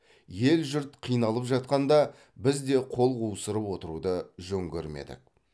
ел жұрт қиналып жатқанда біз де қол қусырып отыруды жөн көрмедік